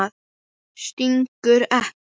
Stingur ekki.